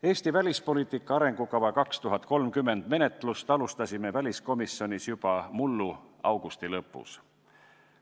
Eesti välispoliitika arengukava 2030 menetlust alustasime väliskomisjonis juba mullu augusti lõpus.